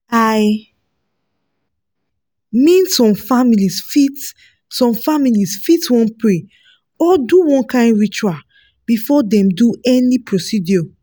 "i mean some families fit some families fit wan pray or do one kind ritual before dem do any procedure